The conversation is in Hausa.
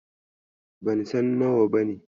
Ban san nawa bane.